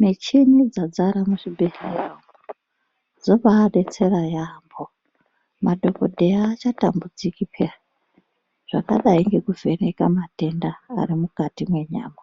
Micheni dzazara muzvibhedhlera umo dzobaadetsera yaamho, madhogodheya aachatambudziki pheyani. Zvakadai ngekuvheneka matenda arimukati menyama,